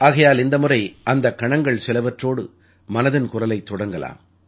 ஆகையால் இந்த முறை அந்தக் கணங்கள் சிலவற்றோடு மனதின் குரலைத் தொடங்கலாம்